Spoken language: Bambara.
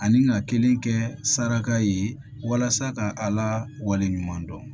Ani ka kelen kɛ saraka ye walasa ka ala wale ɲuman dɔn